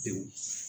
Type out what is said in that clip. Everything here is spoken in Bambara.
Pewu